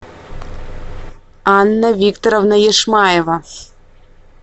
анна викторовна яшмаева